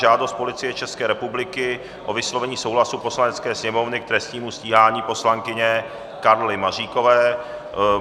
Žádost Policie České republiky o vyslovení souhlasu Poslanecké sněmovny k trestnímu stíhání poslankyně Karly Maříkové